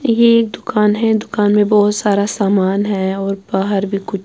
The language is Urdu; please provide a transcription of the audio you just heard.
--یہ ایک دکانم ہیں دکان مے بہت سارا سامان ہیں اور بہار بھی کچھ